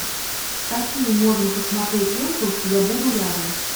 какие можно посмотреть ленту я буду рядом